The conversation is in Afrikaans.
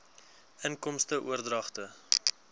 inkomste oordragte